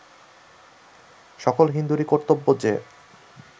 সকল হিন্দুরই কর্তব্য যে